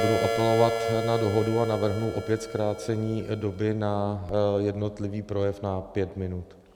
Budu apelovat na dohodu a navrhnu opět zkrácení doby na jednotlivý projev na pět minut.